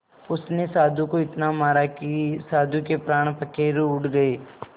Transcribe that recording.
उसने साधु को इतना मारा कि साधु के प्राण पखेरु उड़ गए